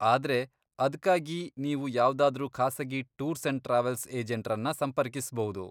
ಆದ್ರೆ, ಅದ್ಕಾಗಿ ನೀವು ಯಾವ್ದಾದ್ರೂ ಖಾಸಗಿ ಟೂರ್ಸ್ ಅಂಡ್ ಟ್ರಾವೆಲ್ಸ್ ಏಜೆಂಟ್ರನ್ನ ಸಂಪರ್ಕಿಸ್ಬೌದು.